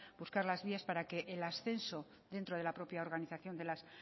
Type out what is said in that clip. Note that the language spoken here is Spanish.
buscar las vías para que el ascenso dentro de la propia organización de las